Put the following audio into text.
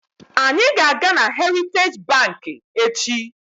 Anyị ga-aga na heritaji banki echi.